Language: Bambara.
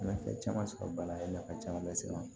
Nafa caman sɔrɔ bana a ye nafa caman lase n ma